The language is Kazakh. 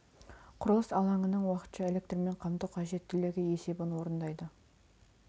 құрылыс алаңының уақытша электрмен қамту қажеттілігі есебін орындайды